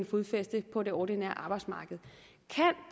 fodfæste på det ordinære arbejdsmarked